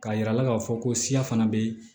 K'a yira a la k'a fɔ ko siya fana bɛ